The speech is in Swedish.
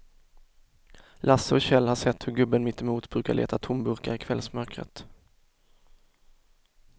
Lasse och Kjell har sett hur gubben mittemot brukar leta tomburkar i kvällsmörkret.